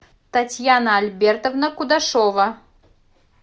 татьяна альбертовна кудашова